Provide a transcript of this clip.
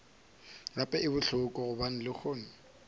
gape e bohloko gobane lehono